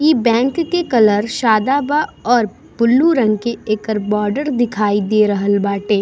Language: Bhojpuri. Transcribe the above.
इ बैंक के कलर सादा बा और ब्लू रंग के एकर बॉर्डर दिखाई दे रहल बाटे।